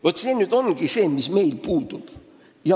Vaat see ongi see, mis meil puudub.